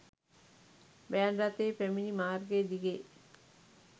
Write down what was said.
van රථය පැමිණි මාර්ගය දිගේ